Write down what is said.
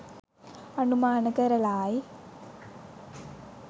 අනුමාන කරලායි.